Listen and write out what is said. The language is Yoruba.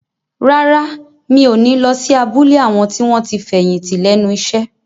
Rárá, mi ò ní lọ sí abúlé àwọn tí wọ́n ti fẹ̀yìntì lẹ́nu iṣẹ́